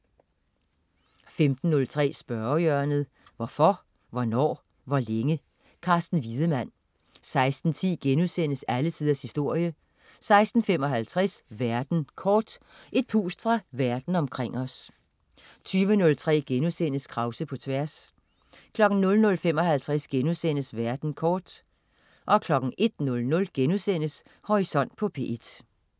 15.03 Spørgehjørnet. Hvorfor, hvornår, hvor længe? Carsten Wiedemann 16.10 Alle tiders historie* 16.55 Verden kort. Et pust fra verden omkring os 20.03 Krause på tværs* 00.55 Verden kort* 01.00 Horisont på P1*